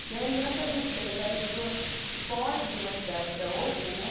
O que é engraçadíssimo, você pensar que a pessoa foge de uma cidade para outra, né?